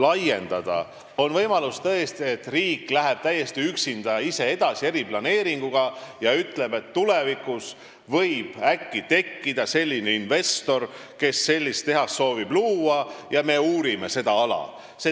On tõesti võimalus, et riik läheb ise, täiesti üksinda eriplaneeringuga edasi ja ütleb, et tulevikus võib äkki leiduda selline investor, kes soovib seda tehast luua, ja me uurime seda ala.